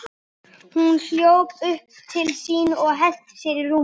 Hún hljóp upp til sín og henti sér í rúmið.